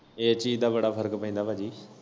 ਏਸ ਚੀਜ ਦਾ ਬੜਾ ਫਰਕ ਪੈਂਦਾ ਭਾਜੀ।